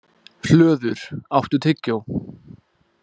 Hlöður, áttu tyggjó?